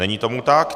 Není tomu tak.